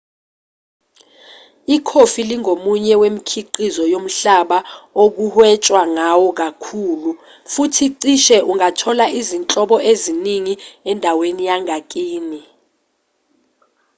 ikhofi lingomunye wemikhiqizo yomhlaba okuhwetshwa ngawo kakhulu futhi cishe ungathola izinhlobo eziningi endaweni yangakini